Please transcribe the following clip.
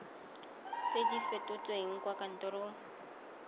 tse di fetotsweng kwa kantorong